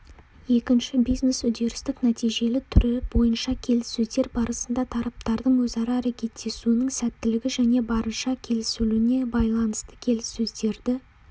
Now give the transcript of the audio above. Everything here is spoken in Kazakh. екінші бизнес-үдерістік-нәтижелі түрі бойынша келіссөздер барысында тараптардың өзара әрекеттесуінің сәттілігі және барынша келісілуіне байланысты келіссөздерді